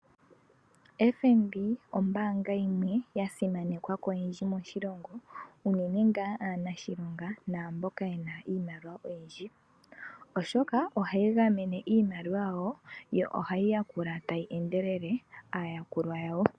FNB ombanga yimwe ya simanekwa koyendji moshilongo, uunene nga aanashilonga naa mboka yena iimaliwa oyindji, oshoka ohayi gamene iimaliwa yawo, yo ohay mi yakula tayi enedelele aayakulwa yawo.